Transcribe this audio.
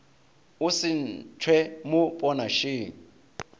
o se ntšhwe mo ponašeng